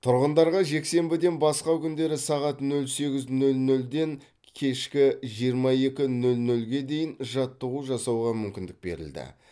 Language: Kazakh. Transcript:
тұрғындарға жексенбіден басқа күндері таңғы нөл сегіз нөл нөлден кешкі жиырма екі нөл нөлге дейін жаттығу жасауға мүмкіндік берілді